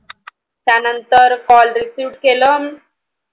त्यानन्तर Call receive केलं